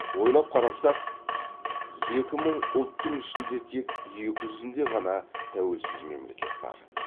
ойлап қарасақ екі мың ұлттың ішінде тек екі жүзінде ғана тәуелсіз мемлекет бар